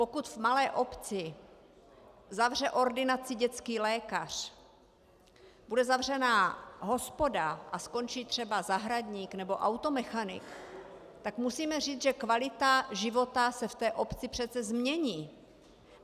Pokud v malé obci zavře ordinaci dětský lékař, bude zavřená hospoda a skončí třeba zahradník nebo automechanik, tak musíme říct, že kvalita života se v té obci přece změní.